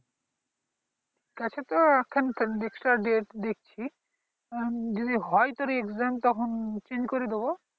আছে তো ঠিক আছে তো এখন তো একটা date দেখছি যদি হয় তো তোর exam তখন চেঞ্জ করে দেবো